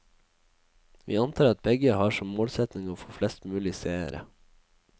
Vi antar at begge har som målsetting å få flest mulig seere.